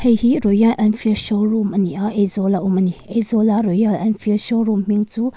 heihi royal enfield showroom ani a aizawla awm ani aizawla royal enfield showroom hming chu--